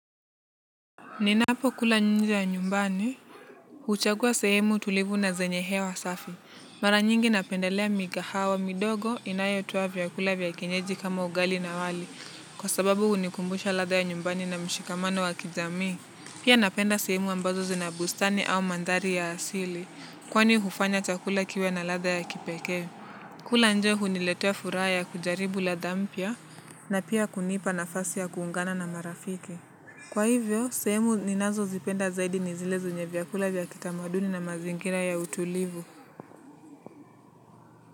Ninapo kula nje ya nyumbani. Huchagua sehemu tulivu na zenye hewa safi. Mara nyingi napendelea mikahawa midogo inayotoa vyakula vya kienyeji kama ugali na wali. Kwa sababu hunikumbusha ladha ya nyumbani na mshikamano wa kijamii. Pia napenda sehemu ambazo zina bustani au mandhari ya asili. Kwani hufanya chakula kiwe na ladha ya kipekee. Kula nje huniletea furaha ya kujaribu ladha mpya. Na pia kunipa nafasi ya kuungana na marafiki. Kwa hivyo, sehemu ninazo zipenda zaidi ni zile zenye vyakula vya kitamaduni na mazingira ya utulivu.